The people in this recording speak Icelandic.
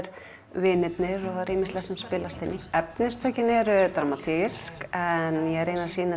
vinirnir ýmislegt sem spilast inn í efnistökin eru dramatísk en ég reyni að sýna